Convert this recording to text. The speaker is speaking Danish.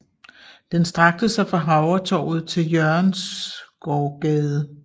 Den strakte sig fra Havretorvet til Jørgensgaardgade